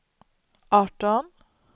arton